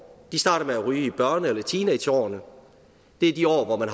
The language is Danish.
de starter med at ryge i børne eller teenageårene og det er de år hvor man